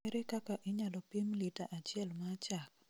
Ere kaka inyalo pim lita achiel ma chak?